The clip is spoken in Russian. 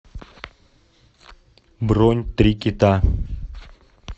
бронь три кита